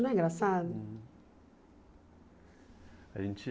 Não é engraçado? A gente